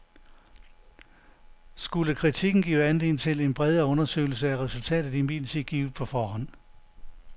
Skulle kritikken give anledning til en bredere undersøgelse, er resultatet imidlertid givet på forhånd.